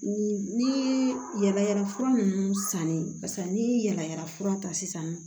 Ni yala yala fura nunnu sannen paseke ni yala yala fura ta sisan